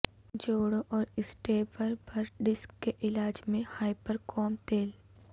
جوڑوں اور اسٹیبربر ڈسک کے علاج میں ہائپرکوم تیل